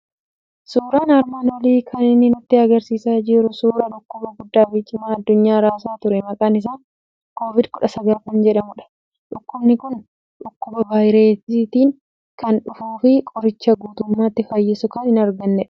Suuraan armaan olii kan inni nutti argisiisaa jiru suuraa dhukkuba guddaa fi cimaa addunyaa raasaa ture maqaan isaa COVID-19 jedhamudha. Dhukkubni kun dhukkuba vaayireetiin kan dhufuu fi qorichaa guutummaatti fayyisu kan hin argannedha.